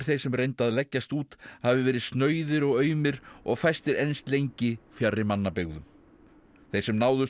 sem reyndu að leggjast út hafi verið snauðir og aumir og fæstir enst lengi fjarri mannabyggðum þeir sem náðust voru